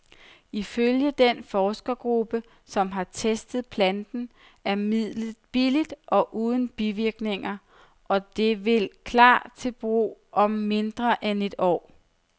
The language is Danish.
Ifølge den forskergruppe, som har testet planten, er midlet billigt og uden bivirkninger, og det vil klar til brug om mindre end et år.